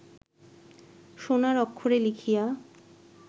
সোণার অক্ষরে লিখিয়া